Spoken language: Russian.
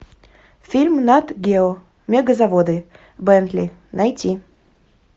фильм нат гео мегазаводы бентли найти